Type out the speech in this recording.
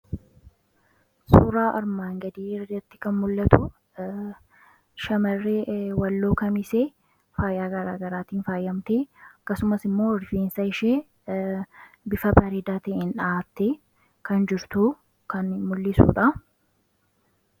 Suuraa armaan gadii irratti kan mul'atu shamarree Walloo Kamisee faayyaa garaagaraatiin faayyamtee akkasumas immoo rifeensa ishee bifa bareedaatiin dha'aattee kan jirtuu kan mul'isuudha.